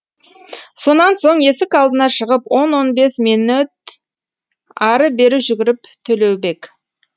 сонан соң есік алдына шығып он он бес минөт ары бері жүгіріп төлеубек